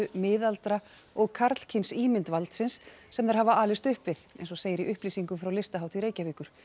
miðaldra og karlkyns ímynd valdsins sem þær hafa alist upp við eins og segir í upplýsingum frá Listahátíð Reykjavíkur